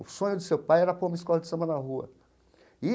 O sonho do seu pai era pôr uma escola de samba na rua e.